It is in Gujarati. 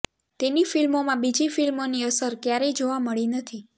તેની ફ્લ્મિોમાં બીજી ફ્લ્મિોની અસર ક્યારેય જોવા મળી નથી